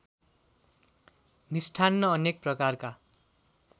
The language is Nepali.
मिष्ठान्न अनेक प्रकारका